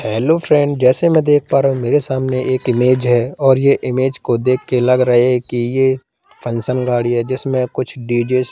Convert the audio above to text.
hello friend जैसे मै देख पा रहा हूं मेरे सामने एक इमेज है और ये इमेज को देख के लग रहे है कि ये फंक्शन गाड़ी है जिसमें कुछ डी_जे --